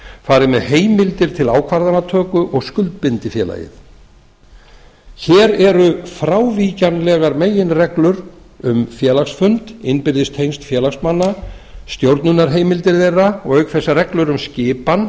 fari með heimildir til ákvarðanatöku og skuldbindi félagið hér eru frávíkjanlegar meginreglur um félagsfund innbyrðis tengsl félagsmanna stjórnunarheimildir þeirra og auk þess reglur um skipan